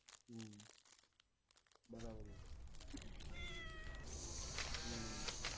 હમ્મ બરાબર છે હમ્મ